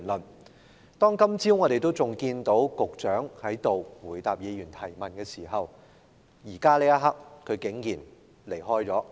我們今天早上仍看到局長在這裏回答議員的質詢，但此刻他竟然離開了。